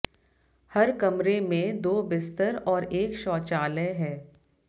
हर कमरे में दो बिस्तर और एक शौचालय है